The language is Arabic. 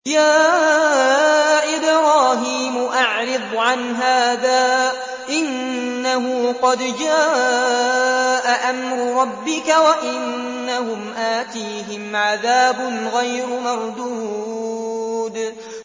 يَا إِبْرَاهِيمُ أَعْرِضْ عَنْ هَٰذَا ۖ إِنَّهُ قَدْ جَاءَ أَمْرُ رَبِّكَ ۖ وَإِنَّهُمْ آتِيهِمْ عَذَابٌ غَيْرُ مَرْدُودٍ